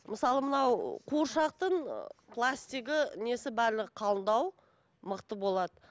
мысалы мынау қуыршақтың пластигі несі барлығы қалыңдау мықты болады